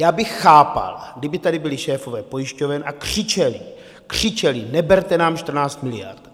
Já bych chápal, kdyby tady byli šéfové pojišťoven a křičeli, křičeli, neberte nám 14 miliard!